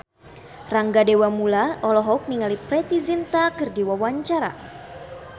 Rangga Dewamoela olohok ningali Preity Zinta keur diwawancara